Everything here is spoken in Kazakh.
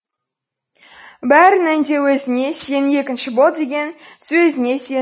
бәрінен де өзіңе сенің екінші бол деген сөзіңе сендім